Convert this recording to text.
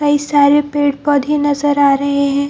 कई सारे पेड़-पौधे नजर आ रहें हैं।